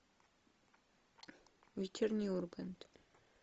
вечерний ургант